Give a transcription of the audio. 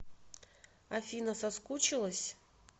афина соскучилась